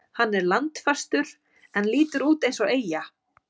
Hann er landfastur en lítur út eins og eyja.